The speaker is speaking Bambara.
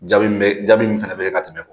Jaabi min be jaabi min fɛnɛ bɛ ka tɛmɛ